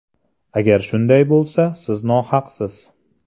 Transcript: Agar shunday bo‘lsa, siz nohaqsiz.